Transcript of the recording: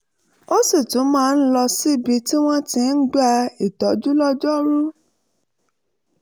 ó sì tún máa ń lọ síbi tí wọ́n ti ń gba ìtọ́jú lọ́jọ́ rú